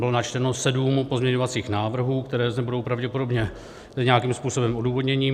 Bylo načteno sedm pozměňovacích návrhů, které zde budou pravděpodobně nějakým způsobem odůvodněny.